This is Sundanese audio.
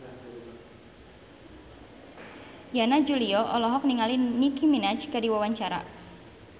Yana Julio olohok ningali Nicky Minaj keur diwawancara